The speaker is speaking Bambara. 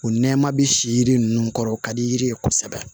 O nɛma bi si yiri ninnu kɔrɔ o ka di yiri ye kosɛbɛ